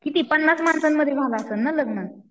किती पन्नास माणसांमध्ये झालं असलं ना लग्न?